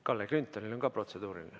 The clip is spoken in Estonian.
Kalle Grünthalil on ka protseduuriline.